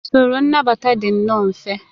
Usoro nnabata dị nnọọ mfe